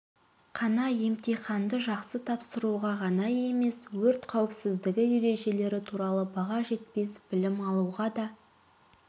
қана емтиханды жақсы тапсыруға ғана емес өрт қауіпсіздігі ережелері туралы баға жетпес білім алуға да